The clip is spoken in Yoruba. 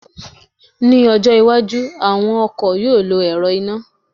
mi ọjọ iwájú, àwọn ọkọ̀ yíò lọ ẹ̀rọ iná